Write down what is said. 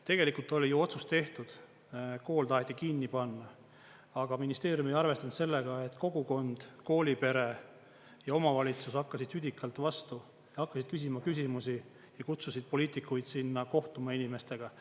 Tegelikult oli ju otsus tehtud, kool taheti kinni panna, aga ministeerium ei arvestanud sellega, et kogukond, koolipere ja omavalitsus hakkasid südikalt vastu, hakkasid küsima küsimusi ja kutsusid poliitikuid sinna kohtuma inimestega.